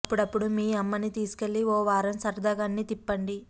అప్పుడప్పుడూ మీ అమ్మని తీసుకెళ్ళి ఓ వారం సరదాగా అన్నీ తిప్పండి